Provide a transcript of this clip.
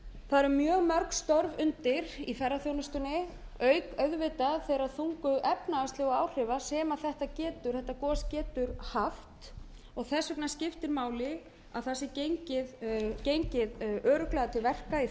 það eru mjög mörg störf undir í ferðaþjónustunni auk auðvitað þeirra þungu efnahagslegu áhrifa sem þetta gos getur haft og þess vegna skiptir máli að það sé gengið örugglega til verka í